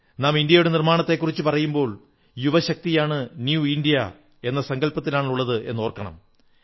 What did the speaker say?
നാം ഇന്ത്യയുടെ നിർമ്മാണത്തെക്കുറിച്ചു പറയുമ്പോൾ യുവശക്തിയാണ് നവ ഇന്ത്യ എന്ന സങ്കൽപ്പത്തിലുള്ളത് എന്നോർക്കണം